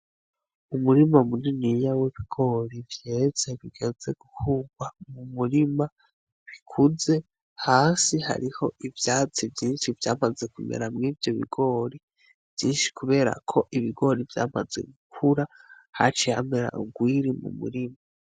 Umurima muniniya w'ibigori vyeze bigeze gukurwa mu murima bikuze, hasi hariho ivyatsi vyinshi vyamaze kumera mwivyo bigori vyinshi kubera ko ibigori vyamaze gukura haciye hamera urwiri mu murima.